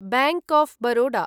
bank of Baroda